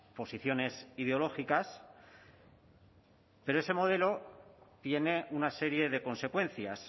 posiciones ideológicas pero ese modelo tiene una serie de consecuencias